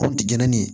Kɔ ti jɛni